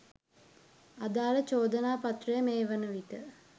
අදාල චෝදනාපත්‍රය මේ වන විට